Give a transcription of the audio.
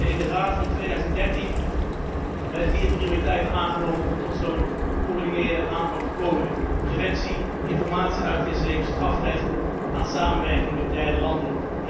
In de Raad van 2013 werden vier prioriteiten aangenomen voor zo'n gecoördineerde aanpak preventie, informatie uitwisseling, strafrecht en samenwerking met derde landen.